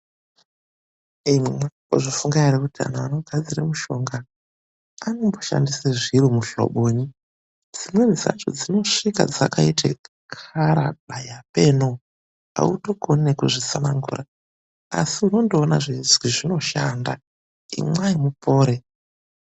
Imwi mwakambozvifunga ere kuti anhu anogadzire mushonga anomboshandise zviro muhlobonyi. Dzimweni dzacho dzinosvika dzakaite muhlobo danyi apeenoo, autokoni nekuzvitsanangura. Asi unondoona zveizwi zvinoshanda, imwai mupore.